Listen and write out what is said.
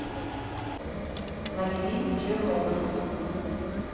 набери чернобыль